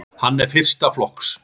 Hann er fyrsta flokks.